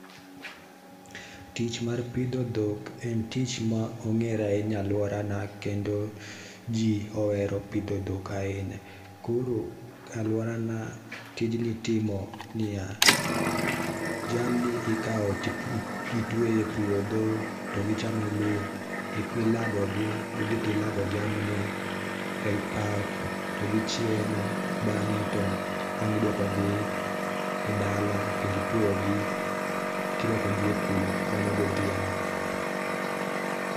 Tich ma rpidho dhok en tich ma ongere ahinya e aluora na kendo jiiohero pidho dhok ahinya. Koro a aluora na tijni itimo niya, jamni ikaw titweyo e puodho to gichamo lum ilago gi, idhi to ilago jamni e pap to gichiemo bange to wang iduoko gi e dala kendo itweyogi kirwako gi e kul, mano godhiambo